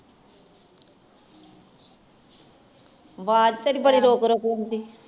ਵੱਜ ਤੇਰੀ ਬੜੀ ਰੁਕ ਰੁਕ ਆਉਂਦੇ ਆ